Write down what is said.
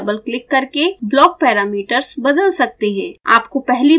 आप blocks पर double click करके block parameters बदल सकते हैं